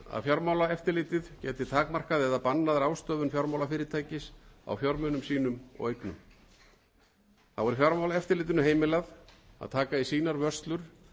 fjármálaeftirlitið geti takmarkað eða bannað ráðstöfun fjármálafyrirtækis á fjármunum sínum og eignum þá er fjármálaeftirlitinu heimilað að taka í sínar vörslur